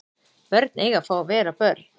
Börn eiga að fá að vera börn